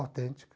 autêntica.